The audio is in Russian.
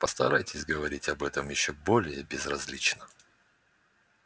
постарайтесь говорить об этом ещё более безразлично